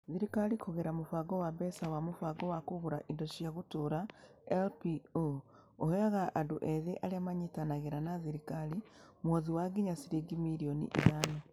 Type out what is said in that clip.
Thirikari kũgerera mũbango wa mbeca wa Mũbango wa Kũgũra Indo cia Gũtũũra (LPO) ĩheaga andũ ethĩ arĩa manyitanagĩra na thirikari mũhothi wa nginya ciringi mirioni ithano.